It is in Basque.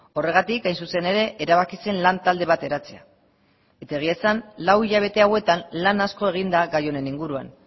horregatik hain zuzen ere erabaki zen lan talde bat eratzea eta egia esan lau hilabete hauetan lan asko egin da gai honen inguruan